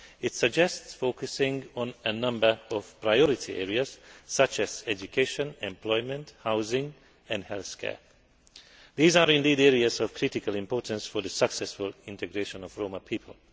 It suggests focusing on a number of priority areas, such as education, employment, housing and healthcare. These are indeed areas of critical importance for the successful integration of the Roma people.